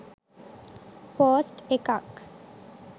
post එකක්